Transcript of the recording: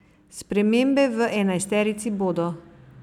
Spremembe v enajsterici bodo.